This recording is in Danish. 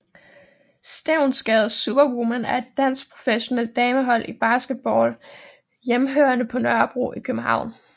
Stevnsgade Superwomen er et dansk professionelt damehold i basketball hjemmehørende på Nørrebro i København